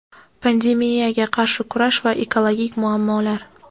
Pandemiyaga qarshi kurash va ekologik muammolar.